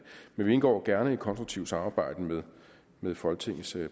men vi indgår gerne i et konstruktivt samarbejde med med folketingets